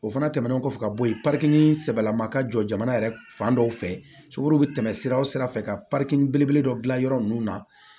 O fana tɛmɛnen kɔfɛ ka bɔ yen sɛbɛlama ka jɔ jamana yɛrɛ fan dɔ fɛ sokoro bɛ tɛmɛ sira o sira fɛ ka belebele dɔ dilan yɔrɔ ninnu na